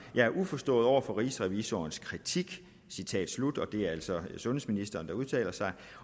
jeg er uforstående over for rigsrevisors kritik og det er altså sundhedsministeren der udtaler sig